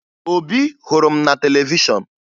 Obi hụrụ m na televishọn